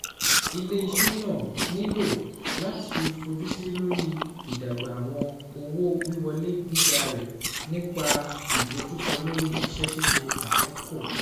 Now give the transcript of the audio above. Ile-iṣẹ naa nilo lati fojusi lori idagba awọn owo-wiwọle giga rẹ nipa idojukọ lori iṣẹ-ṣiṣe akọkọ